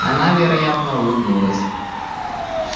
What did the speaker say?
она вероятно улыбнулась